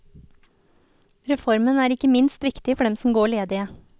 Reformen er ikke minst viktig for dem som går ledige.